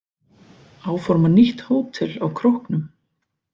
Áforma nýtt hótel á Króknum